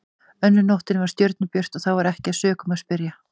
Önnur nóttin var stjörnubjört og þá var ekki að sökum að spyrja.